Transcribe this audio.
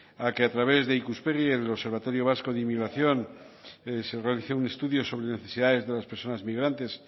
a que a través de ikuspegi en el observatorio vasco de inmigración se realice un estudio sobre necesidades de las personas migrantes